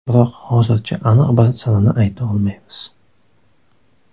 Biroq hozircha aniq bir sanani ayta olmaymiz.